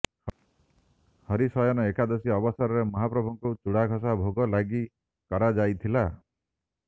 ହରିଶୟନ ଏକାଦଶୀ ଅବସରରେ ମହାପ୍ରଭୁଙ୍କୁ ଚୁଡ଼ାଘଷା ଭୋଗ ଲାଗି କରାଯାଇଥିଲା